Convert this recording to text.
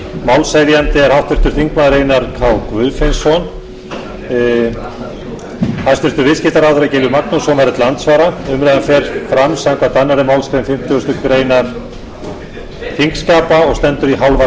málshefjandi er háttvirtur þingmaður einar k guðfinnsson hæstvirtur viðskiptaráðherra gylfi magnússon verður til andsvara umræðan fer fram samkvæmt annarri málsgrein fimmtugustu grein þingskapa og stendur í hálfa klukkustund